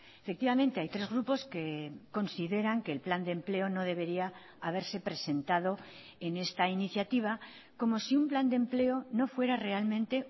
efectivamente hay tres grupos que consideran que el plan de empleo no debería haberse presentado en esta iniciativa como si un plan de empleo no fuera realmente